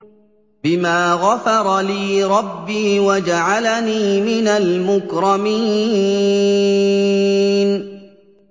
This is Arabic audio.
بِمَا غَفَرَ لِي رَبِّي وَجَعَلَنِي مِنَ الْمُكْرَمِينَ